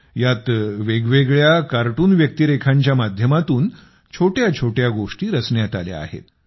यात वेगवेगळ्या कार्टून व्यक्तिरेखांच्या माध्यमातून छोट्याछोट्या गोष्टी रचण्यात आल्या आहेत